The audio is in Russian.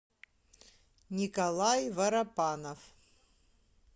николай воропанов